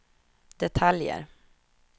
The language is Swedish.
detaljer